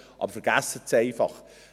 Aber vergessen Sie es einfach.